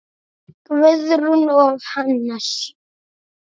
Guðrún og Hannes.